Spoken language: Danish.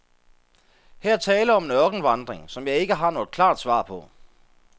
Her er tale om en ørkenvandring, som jeg ikke har noget klart svar på.